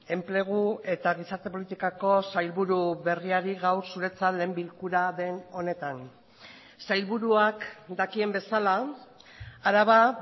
enplegu eta gizarte politikako sailburu berriari gaur zuretzat lehen bilkura den honetan sailburuak dakien bezala araba